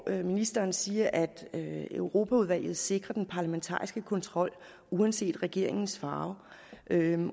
ministeren siger at europaudvalget sikrer den parlamentariske kontrol uanset regeringens farve